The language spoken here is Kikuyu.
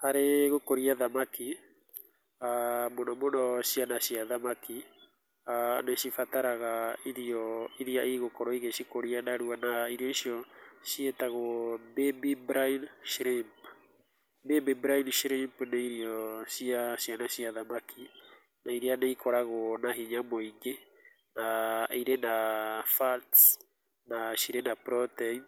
Harĩ gũkũria thamaki, aah mũno mũno ciana cia thamaki, nĩcibataraga irio irĩa cigũkorwo igĩcikũria narua, na irio icio ciĩtagwo baby brine shrimp, baby brine shwrimp nĩ irio cia ciana cia thamaki, na irĩa nĩcikoragwo na hinya mũingĩ na irĩ na fats na ci rĩ na proteins